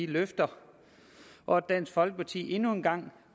løfter og at dansk folkeparti endnu en gang